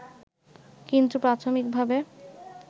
কিন্তু প্রাথমিকভাবে